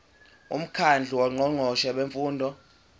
umkhandlu wongqongqoshe bemfundo